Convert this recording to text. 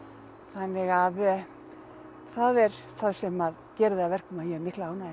þannig að það er það sem gerir það að verkum að ég hef mikla ánægju